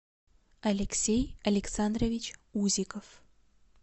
алексей александрович узиков